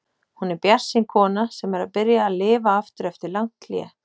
Hún er bjartsýn kona sem er að byrja að lifa aftur eftir langt hlé.